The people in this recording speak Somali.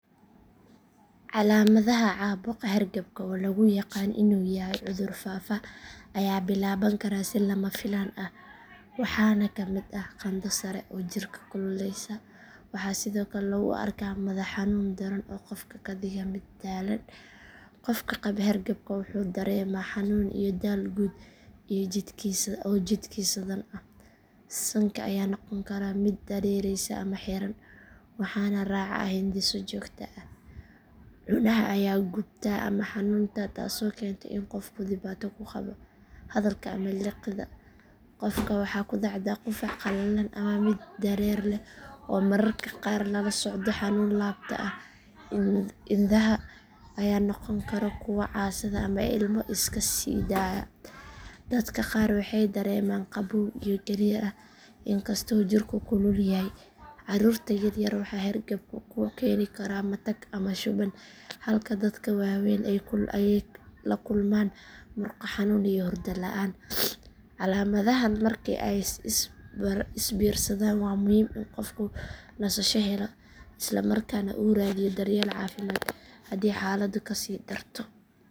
Calaamadaha caabuqa hargabka oo lagu yaqaan inuu yahay cudur faafa ayaa bilaaban kara si lama filaan ah waxaana ka mid ah qandho sare oo jirka kululeysa. Waxaa sidoo kale lagu arkaa madax xanuun daran oo qofka ka dhiga mid daalan. Qofka qaba hargabka wuxuu dareemaa xanuun iyo daal guud oo jidhkiisa dhan ah. Sanka ayaa noqon kara mid dareereeya ama xiran waxaana raaca hindhiso joogto ah. Cunaha ayaa gubta ama xanuuna taasoo keenta in qofku dhibaato ku qabo hadalka ama liqidda. Qofka waxaa ku dhacda qufac qalalan ama mid dareere leh oo mararka qaar lala socdo xanuun laabta ah. Indhaha ayaa noqon kara kuwo casaada ama ilmo iska siidaaya. Dadka qaar waxay dareemaan qabow iyo gariir ah inkastoo jirku kulul yahay. Carruurta yar yar waxaa hargabku ku keeni karaa matag ama shuban halka dadka waaweyn ay la kulmaan murqo xanuun iyo hurdo la'aan. Calaamadahan marka ay is biirsadaan waa muhiim in qofku nasasho helo isla markaana uu raadiyo daryeel caafimaad haddii xaaladdu ka sii darto.